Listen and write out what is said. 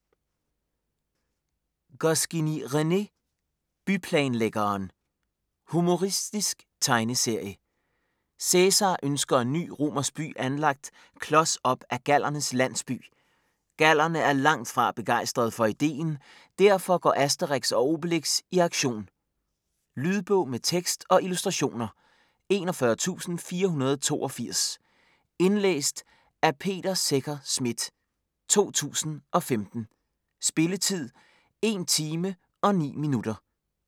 Goscinny, René: Byplanlæggeren Humoristisk tegneserie. Cæsar ønsker en ny romersk by anlagt klods op ad gallernes landsby. Gallerne er langtfra begejstrede for ideen, derfor går Asterix og Obelix i aktion. Lydbog med tekst og illustrationer 41482 Indlæst af Peter Secher Schmidt, 2015. Spilletid: 1 timer, 9 minutter.